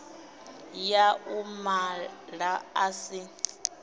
ya u mala a si